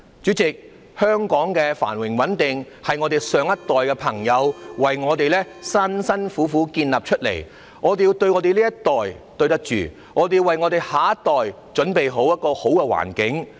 主席，香港的繁榮穩定是上一代為我們辛苦地建立的，我們要對得起這一代，也要為下一代準備一個好環境。